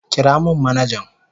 Kira min manajan.